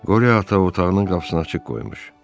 Qori ata otağının qapısını açıq qoymuş.